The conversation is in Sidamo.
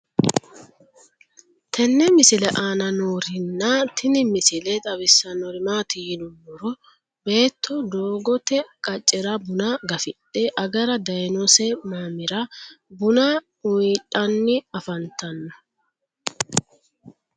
tenne misile aana noorina tini misile xawissannori maati yinummoro beetto doogotte qaccera bunna gafidhe agara daayiinnose mamira bunna uyiidhanni afanttanno